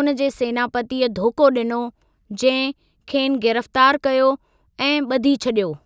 उन जे सेनापतीअ धोखो ॾिनो, जंहिं खेनि गिरफ़्तारु कयो ऐं ॿधी छॾियो।